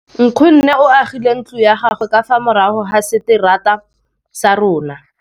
Nkgonne o agile ntlo ya gagwe ka fa morago ga seterata sa rona.